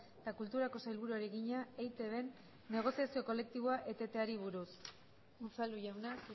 eta kulturako sailburuari egina eitbn negoziazio kolektiboa eteteari buruz unzalu jauna